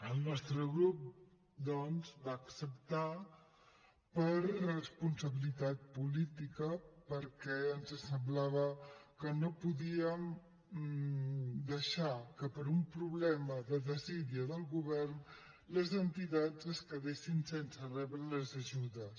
el nostre grup doncs va acceptar per responsabilitat política perquè ens semblava que no podíem deixar que per un problema de desídia del govern les entitats es quedessin sense rebre les ajudes